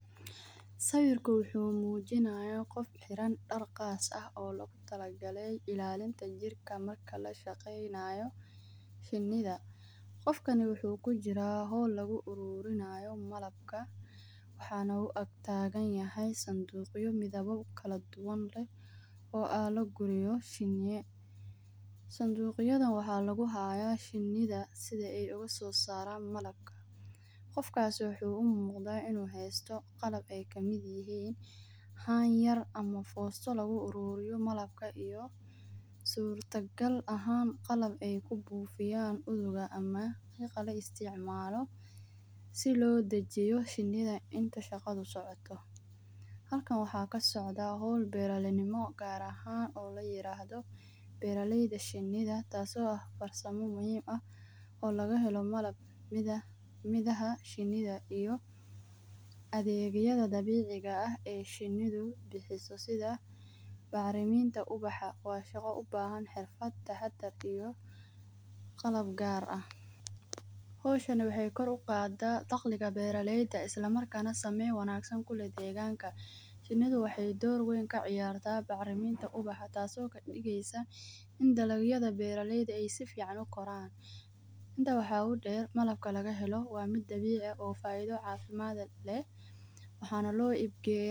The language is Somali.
Sawirku wuxu mujinaya qoof xiraan daar qaas aah oo loqu talaqalay ilalinta jirka marka lashaqeynayo shinidha. Qofkani wuxu kujira hawl lagu arurinayo malabka waxana u agtaganayahy sanduqyo midhawa kaladuwan oo lagiliyo shiniyo. Sandugyadhana waxa lagu haya shindha sidha ay uga so saran malabka. Qofkas wuxu i muqda ino haysto qalab ay kamid yihiin haan yar ama fosto lagu aruriyo malabka iyo surta gaal ahaan qalab ay kubufiyaan uqa ama qiqka loo isticmalo si loo dajiyo shinida inta shaqadha ay socoto. Halkaan awaxa kasocda hawl beer nimo gaar ahan oo lairado beera layda shinida taaso aah farsanimo muhiim ah oo laga helo maalab sidha midaha shinida iyo adegyadga dabiciga aah oo ay shinidu bixiso sidha baariminta ubaha wa shago ubahan xirfaad tahadhar iyo qaalab gaar aah. Hawshani waxay koor uqaada dagliga beeralayda islamarkana samayn kuleeh deganka. Shinidu waxay dawr weyn ka ciyarta bacriminta ubaxa taaso kadigeysa in dalg yadha beera layda ay sifican ukoraan inta waxa udeer malabka lagahelo waa mida dabici aah oo faidha cafimaad leeh waxan loo ibgeya..